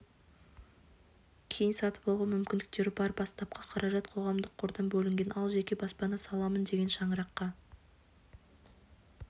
кейін сатып алуға мүмкіндіктері бар бастапқы қаражат қоғамдық қордан бөлінген ал жеке баспана саламын деген шаңыраққа